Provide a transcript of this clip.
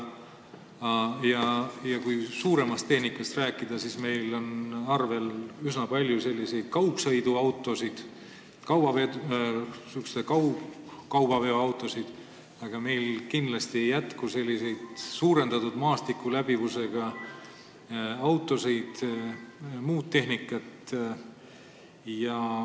Kui suuremast tehnikast rääkida, siis meil on arvel üsna palju kaugsõiduautosid, kaubaveoautosid, aga meil kindlasti ei jätku suurendatud maastikuläbivusega autosid ja muud sellist tehnikat.